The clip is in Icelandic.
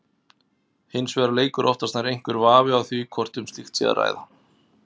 Hins vegar leikur oftast nær einhver vafi á því hvort um slíkt sé að ræða.